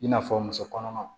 I n'a fɔ muso kɔnɔmaw